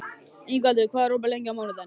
Ingvaldur, hvað er opið lengi á mánudaginn?